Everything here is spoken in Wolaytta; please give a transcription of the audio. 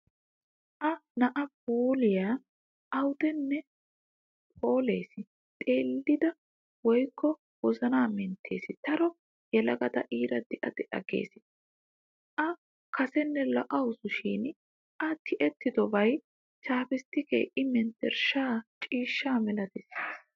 A"a na puulayi awaadan phoolees xeellida ooyyokka wozana menttees daro yelagata iira de'a de'a giissees. A kasenne lo'awusu shin A tiyettidobay chaappisttikee I menttershshaa ciishshaa malatissiis.